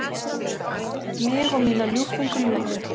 Mig og mína ljúffengu ljúfu.